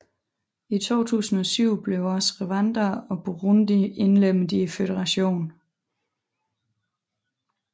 I 2007 blev også Rwanda og Burundi indlemmet i føderationen